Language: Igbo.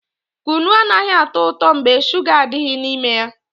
Kunu anaghị atọ ụtọ mgbe shuga adịghị n'ime ya